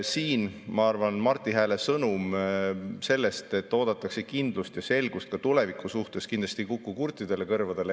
Siin, ma arvan, Marti Hääle sõnum sellest, et oodatakse kindlust ja selgust ka tuleviku suhtes, kindlasti ei kõla kurtidele kõrvadele.